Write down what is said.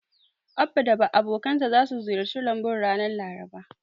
Abba da abokansa zasu ziyarci lambun ranar Laraba.